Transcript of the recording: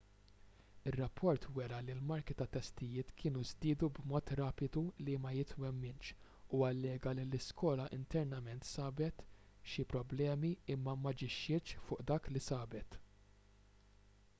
ir-rapport wera li l-marki tat-testijiet kienu żdiedu b'mod rapidu li ma jitwemminx u allega li l-iskola internament sabet xi problemi imma m'aġixxietx fuq dak li sabet